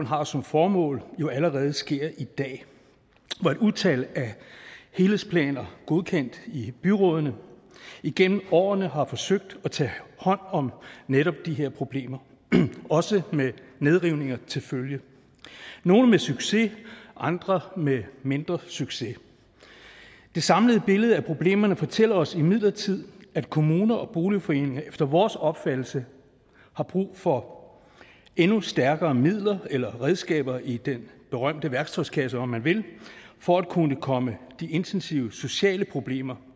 har som formål jo allerede sker i dag hvor et utal af helhedsplaner godkendt i byrådene igennem årene har forsøgt at tage hånd om netop de her problemer også med nedrivninger til følge nogle med succes andre med mindre succes det samlede billede af problemerne fortæller os imidlertid at kommuner og boligforeninger efter vores opfattelse har brug for endnu stærkere midler eller redskaber i den berømte værktøjskasse om man vil for at kunne komme de intensive sociale problemer